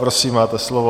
Prosím, máte slovo.